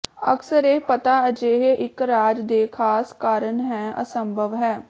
ਅਕਸਰ ਇਹ ਪਤਾ ਅਜਿਹੇ ਇੱਕ ਰਾਜ ਦੇ ਖਾਸ ਕਾਰਨ ਹੈ ਅਸੰਭਵ ਹੈ